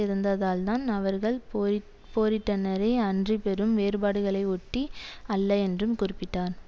இருந்ததால்தான் அவர்கள் போரிட் போரிட்டனரே அன்றி பெரும் வேறுபாடுகளை ஒட்டி அல்ல என்றும் கூறிப்பிட்டார்